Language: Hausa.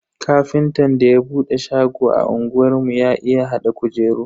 Ƙafintan da ya bude shago a unguwar mu ya iya hada kujeru.